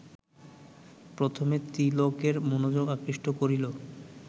প্রথমে তিলকের মনোযোগ আকৃষ্ট করিল